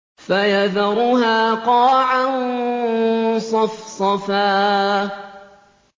فَيَذَرُهَا قَاعًا صَفْصَفًا